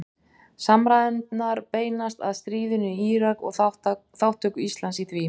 Samræðurnar beinast að stríðinu í Írak og þátttöku Íslands í því.